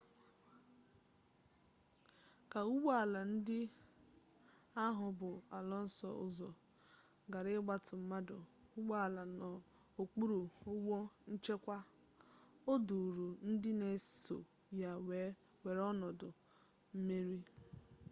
ka ụgbọ ala ndị ahụ bu alonso ụzọ gara ịgbata mmanụ ụgbọala n'okpuru ụgbọ nchekwa o duuru ndị n'eso ya wee were ọnọdụ mmeri